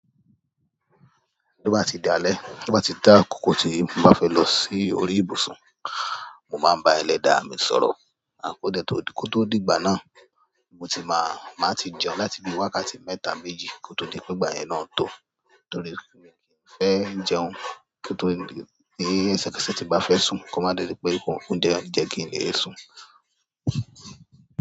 Bí ó bá ti dalẹ́, bí ó bá tá ákókó tíí mo bá fẹ́ lọ sí orí ìbùsùn, mo máa ń bá ẹlẹ́dàá mi sọ̀rọ̀. Kó dẹ̀ tó, kó tó dìgbà náà, mo ti máa, máa ti jẹun láti bí wákàtí mẹ́ta méjì kó tó di pé ìgbà yẹn náà tó. Torí mi kì í fẹ́ jẹun kí n tó, níí ẹsẹ̀ kẹsẹ̀ tí ń bá fẹ́ sùn. Ko máa dẹ́rì pé o oúnjẹ á jẹ́ kí n lè sùn.